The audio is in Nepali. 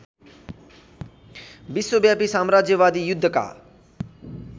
विश्वव्यापी साम्राज्यवादी युद्धका